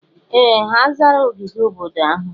Ee! Ha zara ogige obodo ahụ.